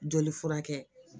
Joli furakɛ